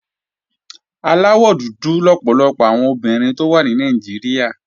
Aláwọ̀ dúdú lọ̀pọ̀lọpọ̀ àwọn obìnrin tó wà ní Nàìjíríà